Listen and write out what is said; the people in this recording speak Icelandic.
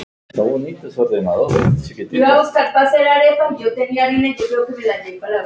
Síldin er komin!